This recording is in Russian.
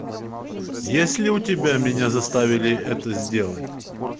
есть ли у тебя меня заставили это сделать